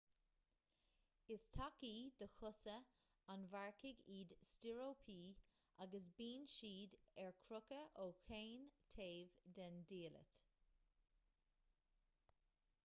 is tacaí do chosa an mharcaigh iad stíoróipí agus bíonn siad ar crochadh ó chaon taobh den diallait